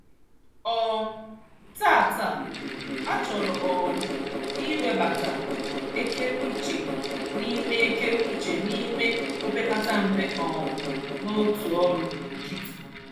um Taata, a chọrọ um m iwebata ekereuche n'ime ekereuche n'ime opekatampe um n'otu ọrụ nkịtị.